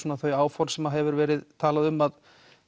þau áform sem hefur verið talað um að